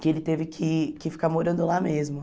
que ele teve que que ficar morando lá mesmo.